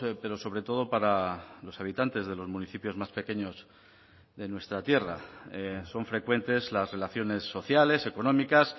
pero sobre todo para los habitantes de los municipios más pequeños de nuestra tierra son frecuentes las relaciones sociales económicas